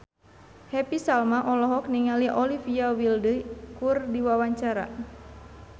Happy Salma olohok ningali Olivia Wilde keur diwawancara